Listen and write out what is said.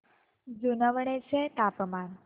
जुनवणे चे तापमान